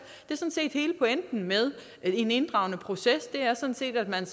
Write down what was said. hele pointen med en inddragende proces er sådan set at man